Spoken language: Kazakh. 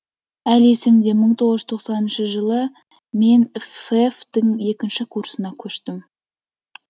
әлі есімде мың тоғыз жүз тоқсаныншы жылы мен фэф тің екінші курсына көштім